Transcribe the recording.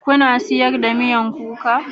Kuna siyarwa miyakuka?